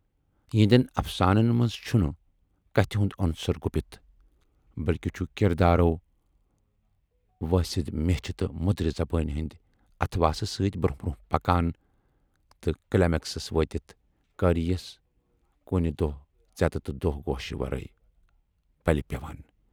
یِہٕندٮ۪ن افسانَن منز چھُنہٕ کتھِ ہُند عُنصر گوٗپِتھ، بٔلۍکہِ چھُ کِردارو وٲسِدٕ میچھِ تہٕ مٔدرِ زبٲنۍ ہٕندِ اتھواسہٕ سۭتۍ برونہہ برونہہ پکان تہٕ کلیمٮ۪کس وٲتِتھ قٲرۍیَس کُنہِ دۄہ ژٮ۪تہٕ تہٕ دۄہ گوٗشہِ ورٲے پلہِ پٮ۪وان